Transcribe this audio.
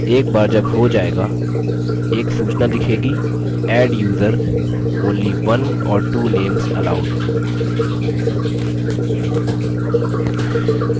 एक बार जब हो जाएगा एक सूचना दिखेगी adduser : only one or two names allowed